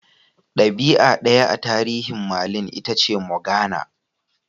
Dabi'a daya a tarihin Merlin Itace Morgana.